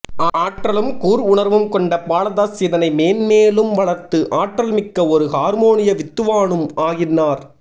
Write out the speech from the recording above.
ஆற்றலும் கூர் உணர்வும் கொண்ட பாலதாஸ் இதனை மென்மேலும் வளர்த்து ஆற்றல் மிக்க ஒரு ஹார்மோனிய வித்துவானும் ஆகினார்